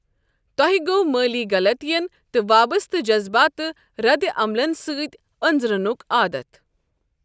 تۄہہِ گۄٚو مٲلی غلطین تہٕ وابسطہٕ جذبٲتہ ردِعملن سۭتۍ أنزرُنُك آدتھ ۔